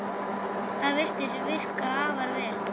Það virðist virka afar vel.